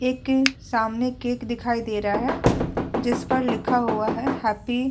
एक सामने केक दिखाई दे रहा है। जिस पर लिखा हुआ है हैप्पी --